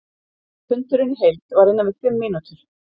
Fundurinn í heild var innan við fimm mínútur.